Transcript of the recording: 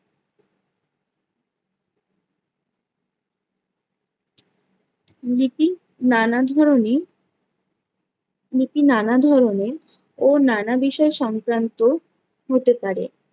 লিপি নানা ধরণের লিপি নানা ধরণের ও নানা বিষয় সংক্রান্ত হতে পারে।